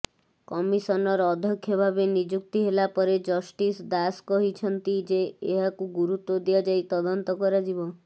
commissioner ଅଧ୍ୟକ୍ଷଭାବେ ନିଯୁକ୍ତି ହେଲାପରେ ଜଷ୍ଟିସ୍ ଦାସ କହିଛନ୍ତି ଯେ ଏହାକୁ ଗୁରୁତ୍ୱ ଦିଆଯାଇ ତଦନ୍ତ କରାଯିବ